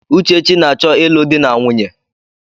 Uchechi na-achọ ịlụ di na nwunye.